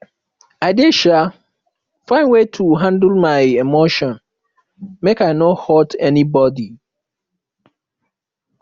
i dey um find way to handle my emotion make i no hurt anybodi